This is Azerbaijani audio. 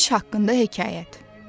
Kiş haqqında hekayət.